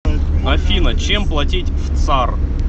афина чем платить в цар